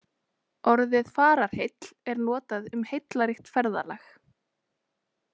Orðið fararheill er notað um heillaríkt ferðalag.